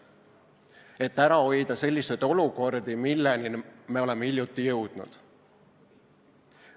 Nii saab ära hoida selliseid olukordi, milleni me oleme hiljuti jõudnud.